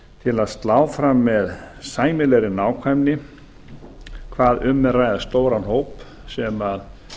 til að slá fram með sæmilegri nákvæmni hvað um er að ræða stóran hóp sem